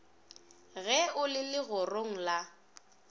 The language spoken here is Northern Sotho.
ge o le legorong la